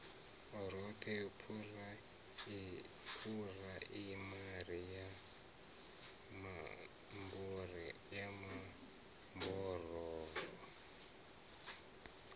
roṱhe phuraimari ya mambo ro